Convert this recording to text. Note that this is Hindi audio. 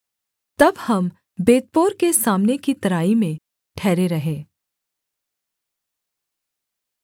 तब हम बेतपोर के सामने की तराई में ठहरे रहे